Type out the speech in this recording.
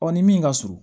ni min ka surun